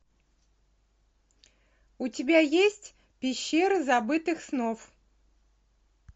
у тебя есть пещера забытых снов